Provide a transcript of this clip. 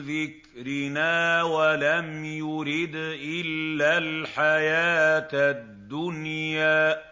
ذِكْرِنَا وَلَمْ يُرِدْ إِلَّا الْحَيَاةَ الدُّنْيَا